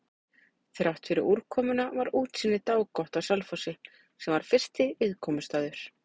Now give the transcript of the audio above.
Þráttfyrir úrkomuna var útsýni dágott á Selfossi, sem var fyrsti viðkomustaður.